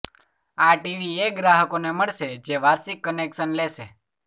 આ ટીવી એ ગ્રાહકોને મળશે જે વાર્ષિક કનેક્શન લેશે